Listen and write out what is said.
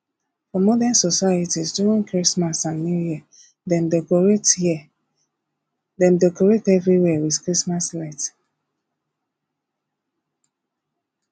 for modern societies during christmas and new year dem decorate year dem decorate everywhere with christmas light